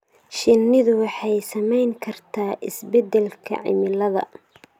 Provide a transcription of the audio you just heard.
Shinnidu waxay saamayn kartaa isbeddelka cimilada.